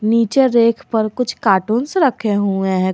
नीचे रेक पर कुछ कार्टूंस रखे हुए हैं।